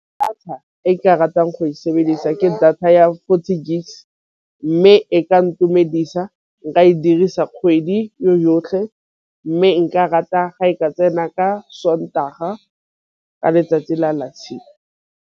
Data e nka ratang go e sebedisa ke data ya forty gigs mme e ka ntumedisa nka e dirisa kgwedi yotlhe. Mme nka rata ga e ka tsena ka sontaga ka letsatsi la .